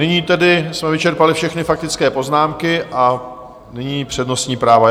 Nyní tedy jsme vyčerpali všechny faktické poznámky a nyní přednostní práva.